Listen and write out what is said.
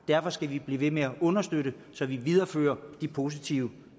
derfor skal vi blive ved med at understøtte det så vi viderefører de positive